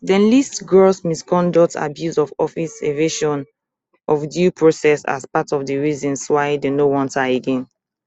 dem list gross misconduct abuse of office evasion of due process as part of di reasons why dem no want her again